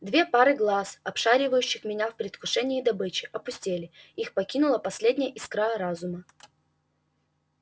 две пары глаз обшаривающих меня в предвкушении добычи опустели их покинула последняя искра разума